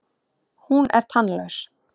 Hún er tannlaus.